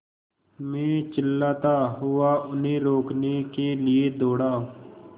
मैं चिल्लाता हुआ उन्हें रोकने के लिए दौड़ा